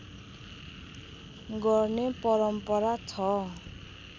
गर्ने परम्परा छ